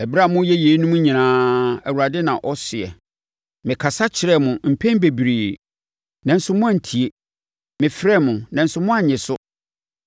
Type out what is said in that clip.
Ɛberɛ a moreyɛ yeinom nyinaa, Awurade na ɔseɛ, mekasa kyerɛɛ mo mpɛn bebree, nanso moantie; mefrɛɛ mo, nanso moannye so.